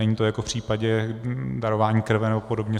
Není to jako v případě darování krve nebo podobně.